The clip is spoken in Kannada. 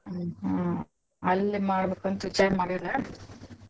ಹ್ಮ್‌ ಹಾ ಅಲ್ಲೇ ಮಾಡ್ಬೇಕಂತ್ ವಿಚಾರ ಮಾಡ್ಯಾರಾ.